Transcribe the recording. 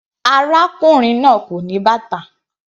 Arákùnrin náà kò ní bàtà.